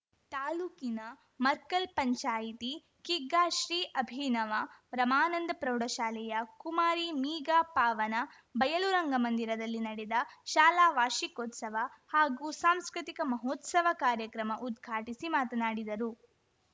ತಾಲೂಕಿನ ಮರ್ಕಲ್‌ ಪಂಚಾಯಿತಿ ಕಿಗ್ಗಾ ಶ್ರೀ ಅಭಿನವ ರಮಾನಂದ ಪ್ರೌಢಶಾಲೆಯ ಕುಮಾರಿ ಮೀಗಾ ಪಾವನ ಬಯಲು ರಂಗಮಂದಿರದಲ್ಲಿ ನಡೆದ ಶಾಲಾ ವಾರ್ಷಿಕೋತ್ಸವ ಹಾಗೂ ಸಾಂಸ್ಕೃತಿಕ ಮಹೋತ್ಸವ ಕಾರ್ಯಕ್ರಮ ಉದ್ಘಾಟಿಸಿ ಮಾತನಾಡಿದರು